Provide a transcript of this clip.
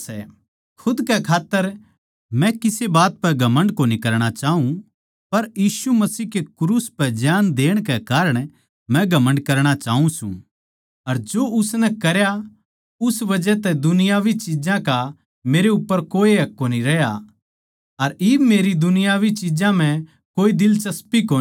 खुद कै खात्तर मै किसे बात पै घमण्ड कोनी करणा चाऊँ पर यीशु मसीह के क्रूस पै जान देण कै कारण मै घमण्ड करणा चाऊँ सूं अर जो उसनै करया उस बजह तै दुनियावी चिज्जां का मेरे उप्पर कोए हक कोनी रह्या अर इब मेरी दुनियावी चिज्जां म्ह कोए दिलचस्पी कोनी